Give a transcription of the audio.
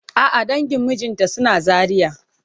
A'a dangin mijinta suna Zaria.